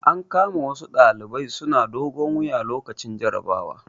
An kama wasu ɗalibai suna dogon wuya lokacin jarabawa.